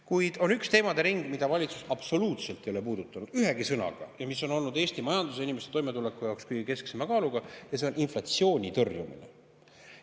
Kuid on üks teemade ring, mida valitsus absoluutselt ei ole puudutanud, ühegi sõnaga, ja mis on olnud Eesti majanduse ja inimeste toimetuleku jaoks kõige kesksema kaaluga – see on inflatsiooni tõrjumine.